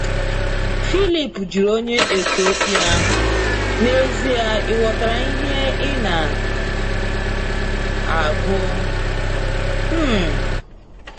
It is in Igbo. phiilip jụrụ onye Ethiopia ahụ, n'ezie ighọtara ihe ịna agụ? um